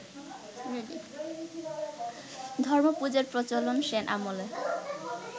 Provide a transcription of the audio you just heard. ধর্মপূজার প্রচলন সেন-আমলে